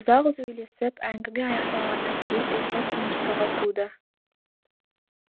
ұзақ сөйлесіп әңгіме аяқталғаннан кейін ұйқы тыныштығы туды